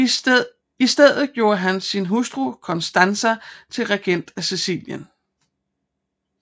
I stedet gjorde han sin hustru Constanza til regent af Sicilien